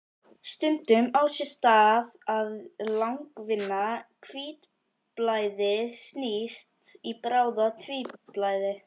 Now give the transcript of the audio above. Stundum á sér stað að langvinna hvítblæðið snýst í bráða-hvítblæði.